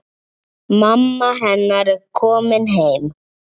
Mamma hennar er komin heim.